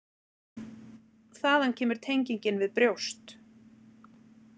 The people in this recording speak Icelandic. Þaðan kemur tengingin við brjóst.